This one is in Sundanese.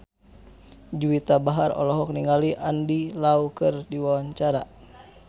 Juwita Bahar olohok ningali Andy Lau keur diwawancara